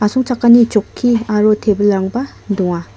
asongchakani chokki aro tebilrangba donga.